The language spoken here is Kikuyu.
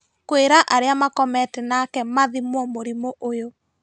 Kwĩra arĩa makomete nake mathimuo mũrimũ ũyũ